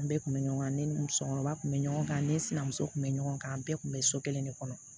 An bɛɛ kun bɛ ɲɔgɔn ne ni musokɔrɔba kun bɛ ɲɔgɔn kan ne sinamuso tun bɛ ɲɔgɔn kan an bɛɛ tun bɛ so kelen de kɔnɔ